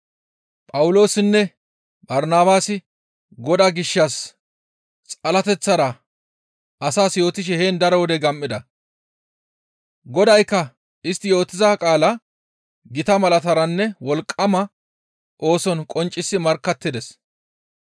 Phawuloosinne Barnabaasi Godaa gishshas xalateththara asas yootishe heen daro wode gam7ida; Godaykka istti yootiza qaalaa gita malataranne wolqqama ooson qonccisi markkattides.